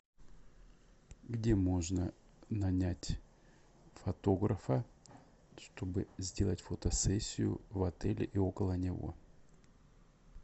где можно нанять фотографа чтобы сделать фотосессию в отеле и около него